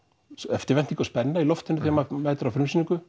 eftirvænting og spenna þegar maður mætir á frumsýningu